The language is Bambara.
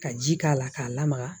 Ka ji k'a la k'a lamaga